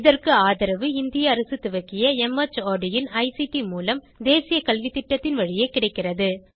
இதற்கு ஆதரவு இந்திய அரசு துவக்கிய மார்ட் இன் ஐசிடி மூலம் தேசிய கல்வித்திட்டத்தின் வழியே கிடைக்கிறது